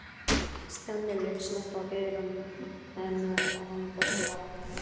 Stjáni leit snöggt á Geir, en hann brosti bara.